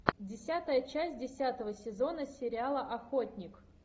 десятая часть десятого сезона сериала охотник